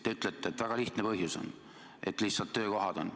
Te ütlete, et väga lihtne põhjus on, lihtsalt töökohad.